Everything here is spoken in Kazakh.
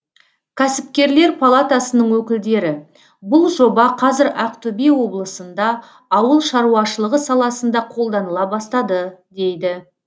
кәсіпкерлер палатасының өкілдері бұл жоба қазір ақтөбе облысында ауыл шаруашылығы саласында қолданыла бастады дейді